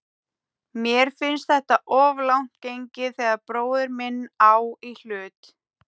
Mér finnst þetta of langt gengið þegar bróðir minn á í hlut.